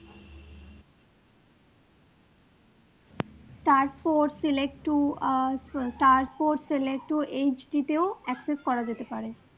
Stars sports select two stars sports select two HD তেও access করা যেতে পারে।